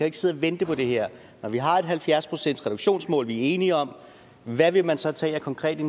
ikke sidde og vente på det her når vi har et halvfjerds procentsreduktionsmål vi er enige om hvad vil man så tage af konkrete